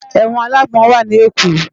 Èwòn àlágbòn wá ni Ékó